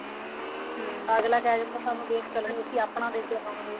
ਅੱਗਲਾ ਕਹਿ ਦਿੰਦਾ ਸਾਨੂੰ base color ਨੀ ਅਸੀਂ ਆਪਣਾ ਦੇਕੇ ਜਾਵਾਂਗੇ